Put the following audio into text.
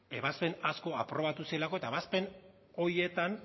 ebazpen asko aprobatu zirelako eta ebazpen horietan